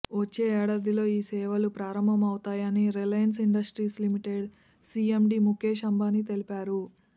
వచ్చే ఏడాదిలో ఈ సేవలు ప్రారంభమౌతాయని Reliance Industries Limited CMD Mukesh Ambani తెలిపారు